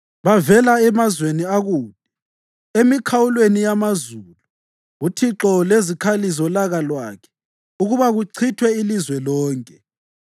Bavela emazweni akude, emikhawulweni yamazulu, uThixo lezikhali zolaka lwakhe, ukuba kuchithwe ilizwe lonke.